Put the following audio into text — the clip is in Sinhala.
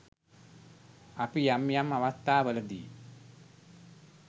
අපි යම් යම් අවස්ථාවලදී